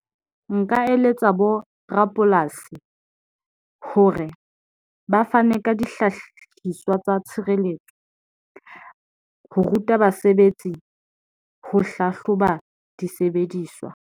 Nka eletsa bo rapolasi hore ba fane ka dihlahiswa tsa tshireletso ho ruta basebetsi, ho hlahloba disebediswa.